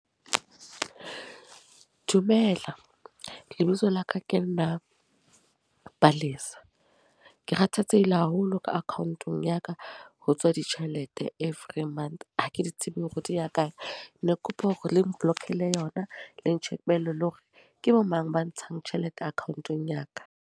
Dumela. Lebitso la ka ke nna Palesa. Ke kgathatsehile haholo ka account-ong ya ka. Ho tswa ditjhelete every month. Ha ke di tsebe hore di ya kae. Ne ke kopa hore le nblock-ele yona le ntjhekele le hore, ke bo mang ba ntshang tjhelete account-ong ya ka.